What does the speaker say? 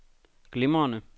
glimrende